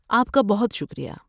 آپ کا بہت شکریہ۔